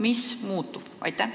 Mis muutub?